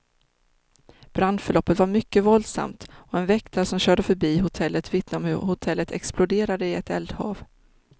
Brandförloppet var mycket våldsamt, och en väktare som körde förbi hotellet vittnar om hur hotellet exploderade i ett eldhav.